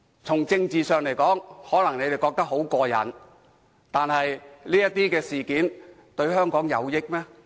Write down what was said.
從政治上來說，他們可能感到很"過癮"，但這樣做對香港有益嗎？